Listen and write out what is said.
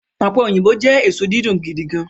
ope oyinbo jẹ eso didun gidigan